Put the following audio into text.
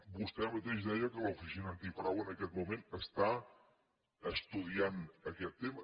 vostè mateix deia que l’oficina antifrau en aquest moment està estudiant aquest tema